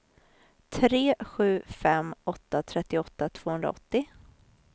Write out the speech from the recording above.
tre sju fem åtta trettioåtta tvåhundraåttio